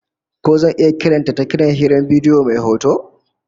Ko zan iya kiran ta ta kiran hirar bidiyo mai hoto?